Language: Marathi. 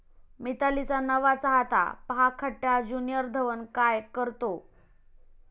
मितालीचा नवा चाहता, पहा खट्याळ ज्य़ुनिअर धवन काय काय करतो!